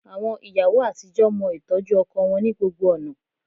Àwọn ìyàwó àtijọ́ mọ ìtọ́jú ọkọ wọn ní gbogbo ọ̀nà